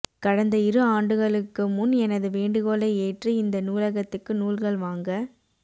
கடந்த இரு ஆண்டுகளுக்கு முன் எனது வேண்டுகோளை ஏற்று இந்த நூலகத்துக்கு நூல்கள் வாங்க